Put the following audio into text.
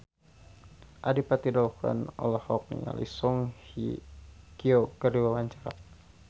Adipati Dolken olohok ningali Song Hye Kyo keur diwawancara